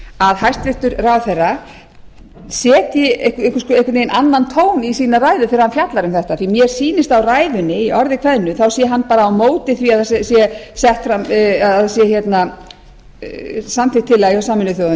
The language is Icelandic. að hæstvirtur ráðherra setji einhvern veginn annan tón í sína ræðu þegar hann fjallar um þetta því að mér sýnist á ræðunni að í orði kveðnu sé hann bara á móti því að það sé samþykkt tillaga hjá sameinuðu þjóðunum